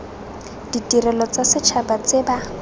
ditirelo tsa setšhaba tse ba